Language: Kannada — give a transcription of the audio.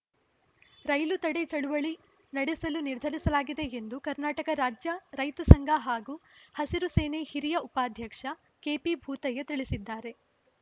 ರೈಲು ತಡೆ ಚಳವಳಿ ನಡೆಸಲು ನಿರ್ಧರಿಸಲಾಗಿದೆ ಎಂದು ಕರ್ನಾಟಕ ರಾಜ್ಯ ರೈತ ಸಂಘ ಹಾಗೂ ಹಸಿರು ಸೇನೆ ಹಿರಿಯ ಉಪಾಧ್ಯಕ್ಷ ಕೆಪಿ ಭೂತಯ್ಯ ತಿಳಿಸಿದ್ದಾರೆ